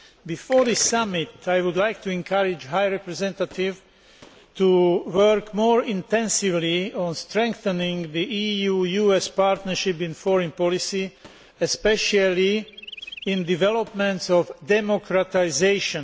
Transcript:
Before this Summit, I would like to encourage the High Representative to work more intensively on strengthening the EU US partnership in foreign policy, especially in the development of democratisation.